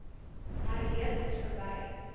herleef dis verby